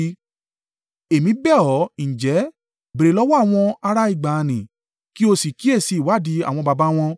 “Èmi bẹ̀ ọ́ ǹjẹ́, béèrè lọ́wọ́ àwọn ará ìgbà nì kí o sì kíyèsi ìwádìí àwọn baba wọn.